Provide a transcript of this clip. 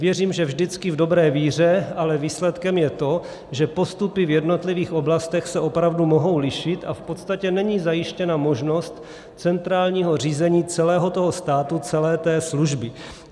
Věřím, že vždycky v dobré víře, ale výsledkem je to, že postupy v jednotlivých oblastech se opravdu mohou lišit a v podstatě není zajištěna možnost centrálního řízení celého toho státu, celé té služby.